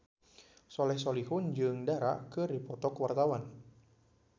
Soleh Solihun jeung Dara keur dipoto ku wartawan